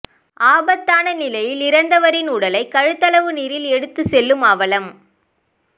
ஆபத்தான நிலையில் இறந்தவரின் உடலை கழுத்தளவு நீரில் எடுத்து செல்லும் அவலம்